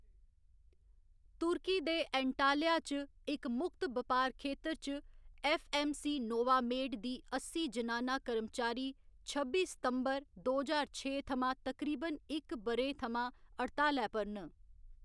तुर्की दे एंटाल्या च इक मुक्त बपार खेतर च, ऐफ्फ.ऐम्म.सी नोवामेड दी अस्सी जनाना कर्मचारी छब्बी सितंबर, दो ज्हार छे थमां तकरीबन इक ब'रें थमां हड़तालै पर न।